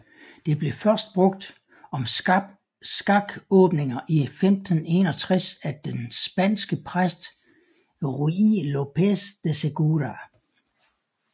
Det blev først brugt om skakåbninger i 1561 af den spanske præst Ruy López de Segura